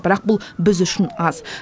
бірақ бұл біз үшін аз